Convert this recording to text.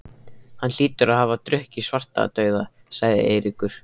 Hann hlýtur að hafa drukkið Svartadauða, sagði Eiríkur.